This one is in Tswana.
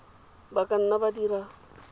ba ka nna ba dira